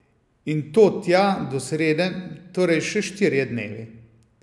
In to tja do srede, torej še štirje dnevi.